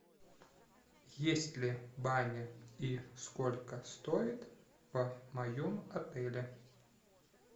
есть ли баня и сколько стоит в моем отеле